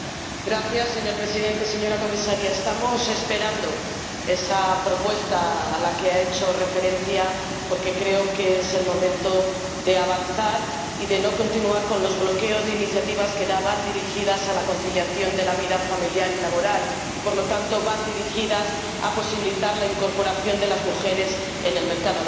Señor Presidente, señora Comisaria, estamos esperando esa propuesta a la que ha hecho referencia porque creo que es el momento de avanzar y de no continuar con los bloqueos de iniciativas que van dirigidas a la conciliación de la vida familiar y laboral y, por lo tanto, van dirigidas a posibilitar la incorporación de las mujeres en el mercado laboral.